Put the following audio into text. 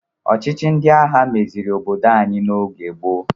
Ọchịchị ndị agha meziri obodo anyi n'oge gboo.